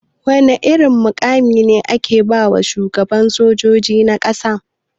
Wana mai irin mukami ne ake bawa shugaban sojoji na ƙasa?